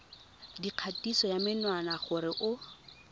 dikgatiso ya menwana gore o